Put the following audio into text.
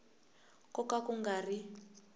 ko ka ku nga ri